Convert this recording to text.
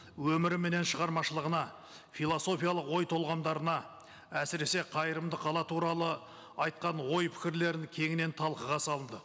өмірі менен шығармашылығына философиялық ой толғандарына әсіресе қайырымды қала туралы айтқан ой пікірлерін кеңінен талқыға салды